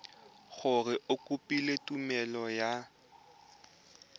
gore o kopile tumelelo ya